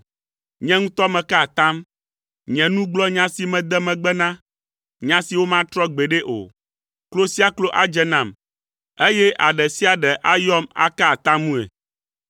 Nye ŋutɔ meka atam. Nye nu gblɔ nya si mede megbe na, nya si womatrɔ gbeɖe o. Klo sia klo adze nam, eye aɖe sia aɖe ayɔm aka atamue.